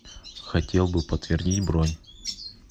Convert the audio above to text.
хотел бы подтвердить бронь